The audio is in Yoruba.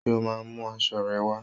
Ṣé o máa mú aṣọ rẹ wá?